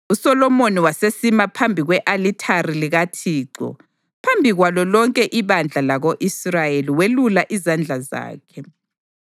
USolomoni wasesima phambi kwe-alithari likaThixo phambi kwalo lonke ibandla lako-Israyeli welula izandla zakhe.